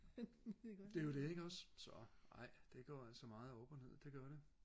det er jo det ikke også så ej det går altså meget op og ned det gør det